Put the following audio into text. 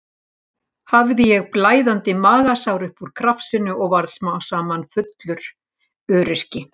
Hafði ég blæðandi magasár upp úr krafsinu og varð smám saman fullur öryrki.